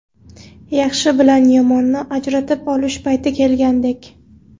Yaxshi bilan yomonni ajratib olish payti kelgandek.